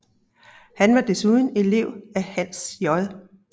Han var desuden elev af Hans J